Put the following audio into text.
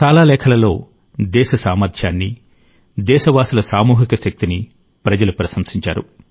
చాలా లేఖలలో దేశ సామర్థ్యాన్ని దేశవాసుల సామూహిక శక్తిని ప్రజలు ప్రశంసించారు